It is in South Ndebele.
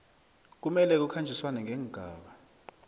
kumele kukhanjiswane neengaba